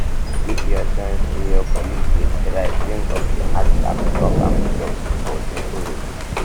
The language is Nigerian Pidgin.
if you sense um say your colleague de try um de try um bring up the heart talk take am um joke or simple refuse